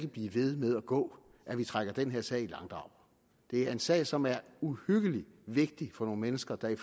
blive ved med at gå at vi trækker den her sag i langdrag det er en sag som er uhyggelig vigtig for nogle mennesker der i